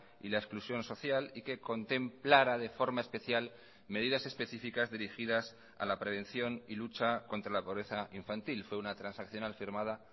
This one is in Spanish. y la exclusión social y que contemplara de forma especial medidas específicas dirigidas a la prevención y lucha contra la pobreza infantil fue una transaccional firmada